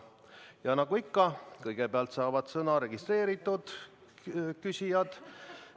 Ja nagu ikka, kõigepealt saavad sõna registreerunud küsijad.